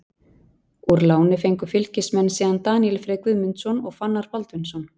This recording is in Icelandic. Úr láni fengu Fylkismenn síðan Daníel Frey Guðmundsson og Fannar Baldvinsson.